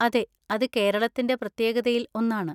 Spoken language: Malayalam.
അതെ, അത് കേരളത്തിന്‍റെ പ്രത്യേകതയിൽ ഒന്നാണ്.